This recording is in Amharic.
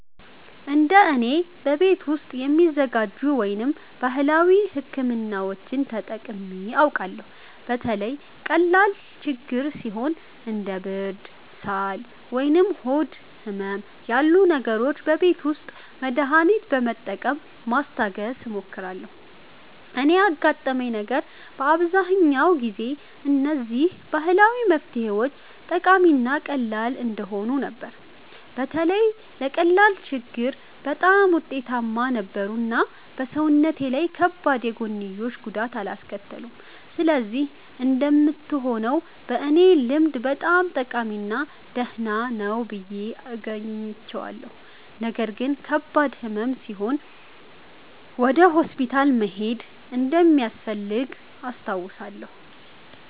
እንደ እኔ፣ በቤት ውስጥ የሚዘጋጁ ወይም ባህላዊ ሕክምናዎችን ተጠቅሜ አውቃለሁ። በተለይ ቀላል ችግኝ ሲኖር እንደ ብርድ፣ ሳል ወይም ሆድ ህመም ያሉ ነገሮች በቤት ውስጥ መድሃኒት በመጠቀም ማስታገስ እሞክራለሁ። እኔ ያጋጠመኝ ነገር በአብዛኛው ጊዜ እነዚህ ባህላዊ መፍትሄዎች ጠቃሚ እና ቀላል እንደሆኑ ነበር። በተለይ ለቀላል ችግኝ በጣም ውጤታማ ነበሩ እና በሰውነቴ ላይ ከባድ የጎንዮሽ ጉዳት አላስከተሉም። ስለዚህ እንደምትሆነው በእኔ ልምድ በጣም ጠቃሚ እና ደህና ነው ብዬ አግኝቼዋለሁ። ነገር ግን ከባድ ሕመም ሲኖር ወደ ሆስፒታል መሄድ እንደሚያስፈልግ አስታውሳለሁ።